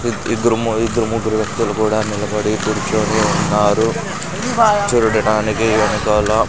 ఇద్ ఇద్దరూ ము ఇద్దరు ముగ్గురు వ్యక్తులు కూడా నిలబడి కూర్చొని ఉన్నారు చూడడానికి వెనకాల--